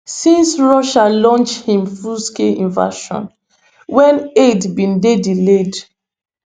[since russia launch im fullscale invasion] wen aid bin dey delayed